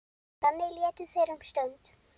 Þannig létu þeir um stund.